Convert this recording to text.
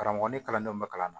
Karamɔgɔ ni kalandenw bɛ kalan na